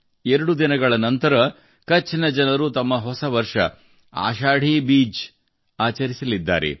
ಎರಡು ದಿನಗಳ ನಂತರ ಕಛ್ ಜನರು ತಮ್ಮ ಹೊಸ ವರ್ಷ ಆಶಾಢಿ ಬೀಜ್ ಆಚರಿಸಲಿದ್ದಾರೆ